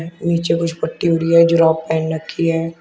नीचे कुछ पट्टी हो रही है जुराब पहन रखी है।